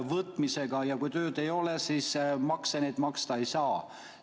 Kui aga tööd ei ole, siis makseid maksta ei saa.